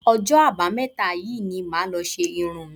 Ọjọ́ Àbámẹ́ta yìí ni màá lọ ṣe irun mi